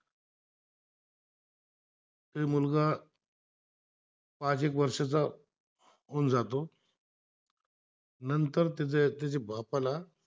पाच एक वर्षाचा होतो तून जात नंतर तेथे त्याचे बापाला